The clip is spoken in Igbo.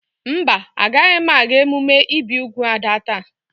Mba, Agaghị m aga emume ibi úgwù Ada taa.